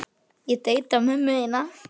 Það getur verið kúnst að skeina gamalt barn.